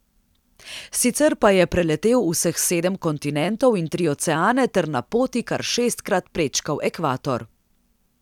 Sicer pa je preletel vseh sedem kontinentov in tri oceane ter na poti kar šestkrat prečkal ekvator.